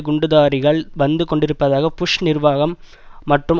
குண்டுதாரிகள் வந்து கொண்டிருப்பதாக புஷ் நிர்வாகம் மற்றும்